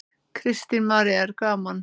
Kristín María: Er gaman?